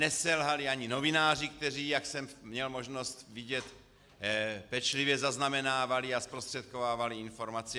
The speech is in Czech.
Neselhali ani novináři, kteří, jak jsem měl možnost vidět, pečlivě zaznamenávali a zprostředkovávali informace.